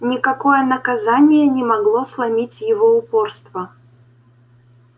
никакое наказание не могло сломить его упорство